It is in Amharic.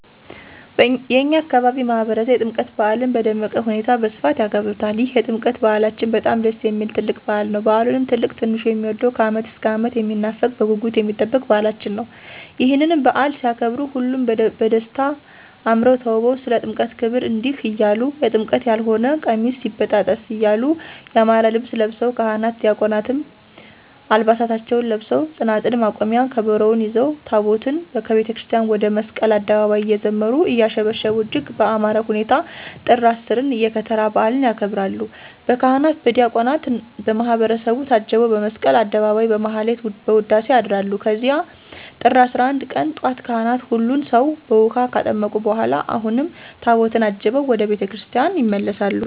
የእኛ አካባቢ ማህበረሰብ የጥምቀት በዓልን በደመቀ ሁኔታ በስፋት ያከብሩታል ይህ የጥምቀት በዓላችን በጣም ደስ የሚል ትልቅ በዓል ነዉ። በዓሉም ትልቅ ትንሹ የሚወደዉ ከዓመት እስከ ዓመት የሚናፈቅ በጉጉት የሚጠበቅ በዓላችን ነዉ። ይህንንም በዓል ሲያከብሩ ሁሉም በደስታ አምረዉ ተዉበዉ ስለ ጥምቀት ክብር እንዲህ እያሉ<የጥምቀት ያልሆነ ቀሚስ ይበጣጠስ> እያሉ ያማረ ልብስ ለብሰዉ ካህናት ዲያቆናትም ዓልባሳታቸዉን ለብሰዉ ፅናፅል፣ መቋሚያ፣ ከበሮዉን ይዘዉ ታቦታትን ከቤተክርስቲያን ወደ መስቀል አደባባይ እየዘመሩ; እያሸበሸቡ እጅግ በአማረ ሁኔታ ጥር 10ን የከተራ በዓልን ያከብራሉ። በካህናት በዲያቆናት በማህበረሰቡ ታጅበዉ በመስቀል አደባባይ በማህሌት በዉዳሴ ያድራሉ ከዚያም ጥር 11 ቀን ጧት ካህናት ሁሉን ሰዉ በዉሀ ካጠመቁ በኋላ አሁንም ታቦታትን አጅበዉ ወደ ቤተ ክርስቲያን ይመለሳሉ።